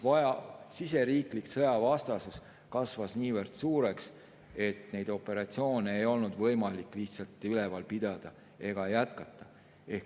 Siseriiklik sõjavastasus kasvas niivõrd suureks, et neid operatsioone ei olnud võimalik üleval pidada ega jätkata.